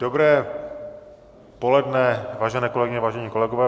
Dobré poledne, vážení kolegyně, vážení kolegové.